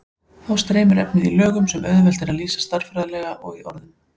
Þá streymir efnið í lögum sem auðvelt er að lýsa stærðfræðilega og í orðum.